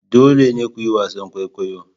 Dole ne ku yi wasan kwaikwayo!